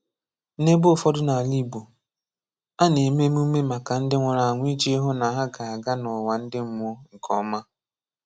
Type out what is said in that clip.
N'ebe ụfọdụ n’ala Igbo, a na-eme emume maka ndi nwụrụ anwụ iji hụ na ha ga-aga n’ụwa ndi mmụọ nke ọma.